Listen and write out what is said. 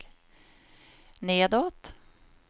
nedåt